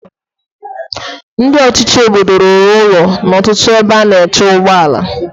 Ndị ọchịchị obodo rụrụ ụlọ na ọtụtụ bọs stọọpu.